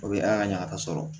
O bɛ ala ka ɲagasa sɔrɔ